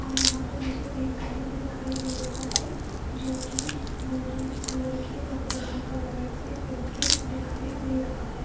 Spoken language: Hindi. और यहां पे मुझे एक घर भी दिखाई दे रहा है जो की गोल्डन कलर के और ब्राउन कलर से पेंटेड दिखाई दे रहा है।